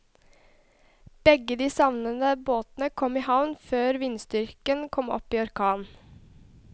Begge de savnede båtene kom i havn før vindstyrken kom opp i orkan.